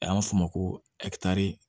A y'a f'o ma ko